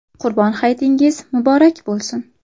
Qurbon hayitingiz muborak bo‘lsin!